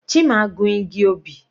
Chima gun igi obì.